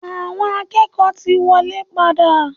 Awọn akẹ́kọ̀ọ́ ti wọlé padà.